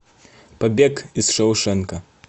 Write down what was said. побег из шоушенка